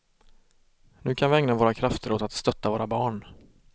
Nu kan vi ägna våra krafter åt att stötta våra barn.